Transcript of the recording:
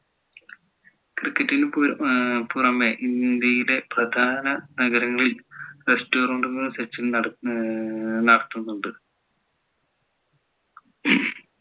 cricket ന് പുറമെ ഇന്ത്യയിലെ പ്രധാന നഗരങ്ങളിൽ restaurant കൾ സച്ചിൻ നടത്തുന്നുണ്ട്